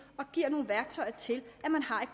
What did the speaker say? og giver nogle værktøjer til et